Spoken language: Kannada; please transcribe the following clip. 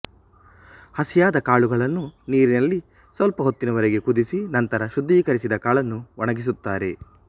ಹಸಿಯಾದ ಕಾಳುಗಳನ್ನು ನೀರಿನಲ್ಲಿ ಸ್ವಲ್ಪ ಹೊತ್ತಿನವರೆಗೆ ಕುದಿಸಿ ನಂತರ ಶುಧ್ದೀಕರಿಸಿದ ಕಾಳನ್ನು ಒಣಗಿಸುತ್ತಾರೆ